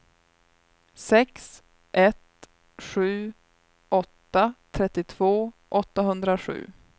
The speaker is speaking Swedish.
sex ett sju åtta trettiotvå åttahundrasju